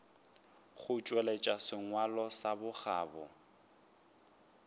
go tšweletša sengwalo sa bokgabo